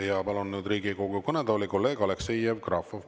Ja palun nüüd Riigikogu kõnetooli kolleeg Aleksei Jevgrafovi.